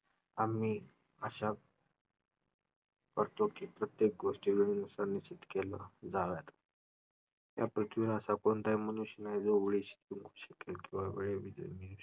आम्ही आशा करतो की प्रत्येक गोष्टीवरून केल्या जाव्यात. या पृथ्वीवर असा कोणताही मनुष्य नाही जो वेळेशी शकेल किंवा वेळे